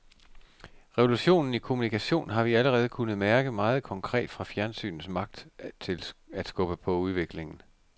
Revolutionen i kommunikation har vi allerede kunnet mærke meget konkret fra fjernsynets magt til skubbe på udviklingen.